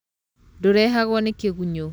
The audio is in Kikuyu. Ndũrehagwo nĩ kĩgunyũ.